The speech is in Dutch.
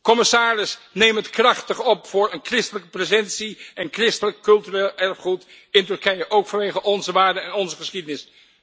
Commissaris, neem het eveneens krachtig op voor een christelijke presentie en christelijk cultureel erfgoed in Turkije, ook vanwege onze waarden en onze geschiedenis!